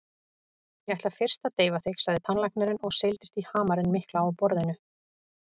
Ég ætla fyrst að deyfa þig, sagði tannlæknirinn og seildist í hamarinn mikla á borðinu.